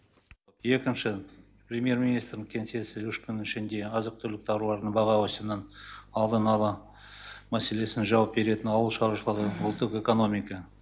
екінші премьер министрдің кеңсесі үш күннің ішінде азық түлік тауарлардың баға өсімінің алдын ала мәселесін жауап беретін ауыл шаруашылығы ұлттық экономика